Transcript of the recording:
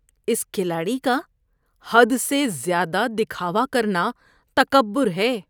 اس کھلاڑی کا حد سے زیادہ دکھاوا کرنا تکبر ہے۔